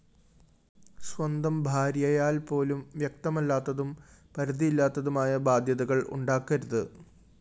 സ്വന്തം ഭാര്യയാല്‍പോലും വ്യക്തമല്ലാത്തും പരിധിയില്ലാത്തതുമായ ബാദ്ധ്യതകള്‍ ഉണ്ടാക്കരുത്